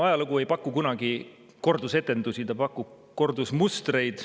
Ajalugu ei paku kunagi kordusetendusi, ta pakub kordusmustreid.